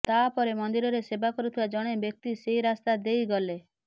ତାପରେ ମନ୍ଦିରରେ ସେବା କରୁଥିବା ଜଣେ ବ୍ୟକ୍ତି ସେହି ରାସ୍ତା ଦେଇ ଗଲେ